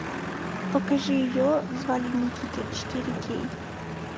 покажи ее звали никита четыре кей